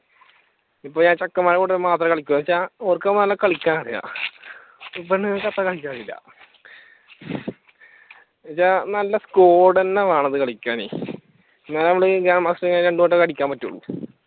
ഇപ്പൊ ഞാൻ ചെക്കന്മാരുടെ കൂടെ മാത്രേ കളിക്കു എന്താന്ന് വെച്ചാ ഓർക്ക് നന്നയിട്ടത് കളിക്കാൻ അറിയാം പെണ്ണുങ്ങൾക്കത്ര കളിയ്ക്കാൻ അറിയില്ല എന്താന്ന് വെച്ചാൽ നല്ല സ്കോഡ്സ് തന്നെ വേണം അത് കളിക്കാനെ എന്നാലേ നമക്ക് രണ്ട് വട്ടം ഒക്കെ രണ്ട് വട്ടം അടിക്കാൻ പറ്റുള്ളൂ.